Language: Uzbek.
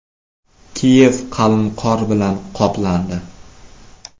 Kiyev qalin qor bilan qoplandi.